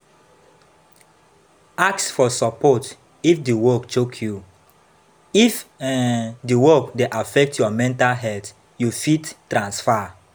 Ask for support if di work choke you, if um di work dey affect your mental health you fit transfer